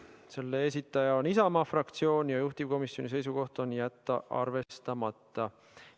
Selle esitaja on Isamaa fraktsioon ja juhtivkomisjoni seisukoht on jätta see arvestamata.